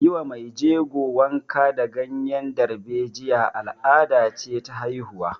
Yi wa mai jego wanka da ganyen darbejiya al'ada ce ta haihuwa